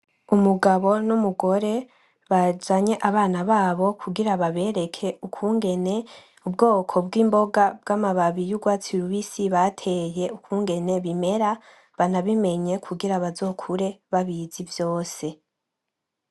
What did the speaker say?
Umugabo n'umugore bazanye abana babo kugira babereke ukungene ubwoko bw'imboga bw'amababi y'urwatsi rubisi bateye ukungene bimera banabimenye kugira bazokure babizi vyose.